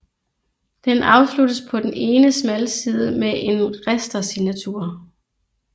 Den afsluttes på den ene smalside med en ristersignatur